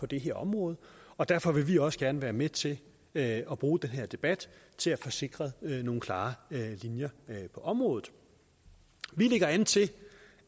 det her område og derfor vil vi også gerne være med til at at bruge den her debat til at få sikret nogle klare linjer på området vi lægger an til